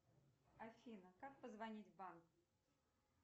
афина как позвонить в банк